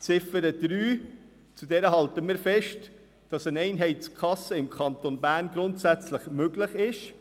Zu Ziffer 3 halten wir fest, dass eine Einheitskasse im Kanton Bern grundsätzlich möglich ist.